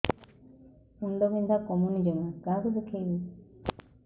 ମୁଣ୍ଡ ବିନ୍ଧା କମୁନି ଜମା କାହାକୁ ଦେଖେଇବି